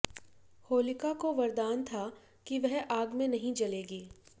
होलिका को वरदान था कि वह आग में नहीं जलेगी